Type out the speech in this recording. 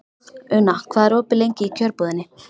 Una, hvað er opið lengi í Kjörbúðinni?